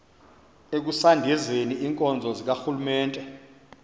ekusondezeni iinkonzo zikarhulumente